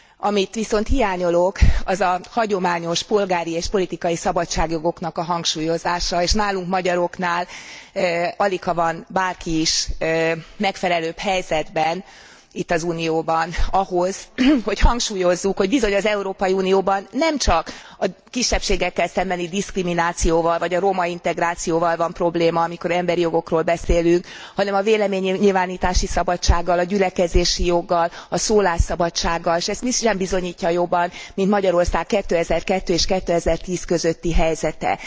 Amit viszont hiányolok, az a hagyományos polgári és politikai szabadságjogoknak a hangsúlyozása, és nálunk magyaroknál aligha van bárki is megfelelőbb helyzetben itt az Unióban ahhoz, hogy hangsúlyozzuk, hogy bizony az Európai Unióban nemcsak a kisebbségekkel szembeni diszkriminációval vagy a romaintegrációval van probléma amikor emberi jogokról beszélünk, hanem a véleménynyilvánítási szabadsággal, a gyülekezési joggal, a szólásszabadsággal, s ezt mi sem bizonyítja jobban, mint Magyarország 2002 és 2010 közötti helyzete.